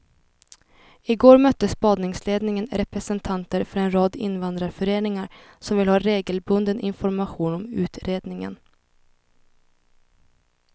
I går mötte spaningsledningen representanter för en rad invandrarföreningar som vill ha regelbunden information om utredningen.